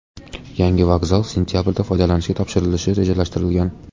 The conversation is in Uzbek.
Yangi vokzal sentabrda foydalanishga topshirilishi rejalashtirilgan.